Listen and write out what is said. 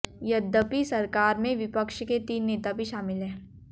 यद्यपि सरकार में विपक्ष के तीन नेता भी शामिल हैं